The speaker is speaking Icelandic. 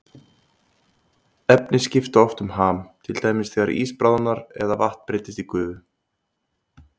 Efni skipta oft um ham, til dæmis þegar ís bráðnar eða vatn breytist í gufu.